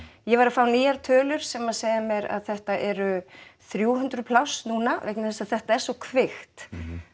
ég var að fá nýjar tölur sem að segja mér að þetta eru þrjú hundruð pláss núna vegna þess að þetta er svo kvikt